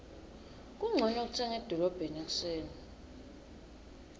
kuncono kutsenga edolobheni ekuseni